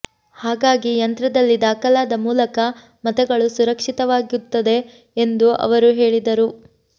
ಹಾಗಾಗಿ ಈ ಯಂತ್ರದಲ್ಲಿ ದಾಖಲಾದ ಮೂಲಕ ಮತಗಳು ಸುರಕ್ಷಿತ ವಾಗಿುತ್ತದೆ ಎಂದು ಅವರು ಹೇಳಿದರು